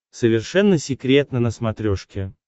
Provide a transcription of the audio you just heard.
совершенно секретно на смотрешке